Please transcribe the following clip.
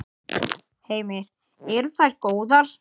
Heimir: Eru þær góðar?